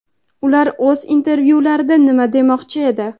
Ular oʼz intervyularida nima demoqchi edi?.